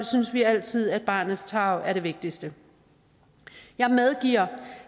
synes vi altid at barnets tarv er det vigtigste jeg medgiver